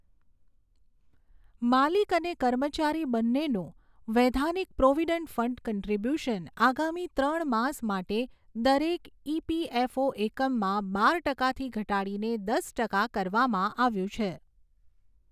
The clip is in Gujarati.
માલિક અને કર્મચારી બંનેનું વૈધાનિક પ્રોવડંટ ફંડ કોન્ટ્રીબ્યુશન આગામી ત્રણ માસ માટે દરેક ઈપીએફઓ એકમમાં બાર ટકાથી ઘટાડીને દસ ટકા કરવામાં આવ્યું છે.